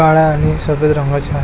काळ्या आणि सफेद रंगाच आहे.